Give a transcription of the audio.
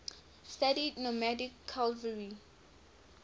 studied nomadic cavalry